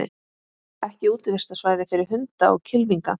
Ekki útivistarsvæði fyrir hunda og kylfinga